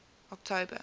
october